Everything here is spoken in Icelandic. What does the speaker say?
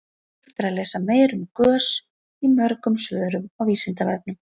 hægt er að lesa meira um gös í mörgum svörum á vísindavefnum